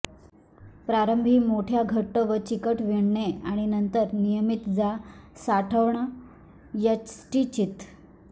प्रारंभी मोठ्या घट्ट व चिकट विणणे आणि नंतर नियमित जा साठवण यष्टीचीत